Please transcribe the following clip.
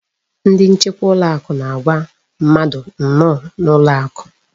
Ndị nchekwa ụlọakụ na-agwa mmadụ nnọọ n'ụlọakụ.